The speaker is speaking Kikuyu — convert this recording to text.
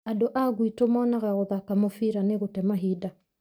Andũ a guito monaga gũthaka mũfira nĩgũte kahinda.